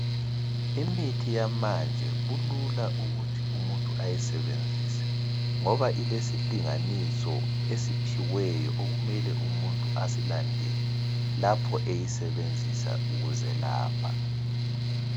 Imithi yamanje kulula ukuthi umuntu ayisebenzise ngoba ilesilinganiso esiphiweyo okumele umuntu asilandele lapho eyisebenzisa ukuzelapha.